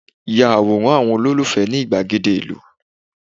ya Aworan àwọn ololufẹ ni igbagede ilu